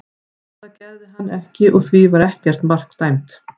Það gerði hann ekki og því var ekkert mark dæmt.